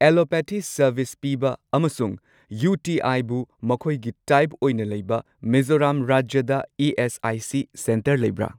Allopathy service ꯄꯤꯕ ꯑꯃꯁꯨꯡ ꯌꯨꯇꯤꯑꯥꯏꯕꯨ ꯃꯈꯣꯏꯒꯤ ꯇꯥꯏꯞ ꯑꯣꯏꯅ ꯂꯩꯕ ꯃꯤꯖꯣꯔꯥꯝ ꯔꯥꯖ꯭ꯌꯗ ꯏ.ꯑꯦꯁ.ꯑꯥꯏ.ꯁꯤ. ꯁꯦꯟꯇꯔ ꯂꯩꯕ꯭ꯔꯥ꯫